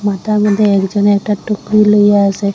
মাথার মধ্যে একজন একটা টুকরি লইয়া আসে।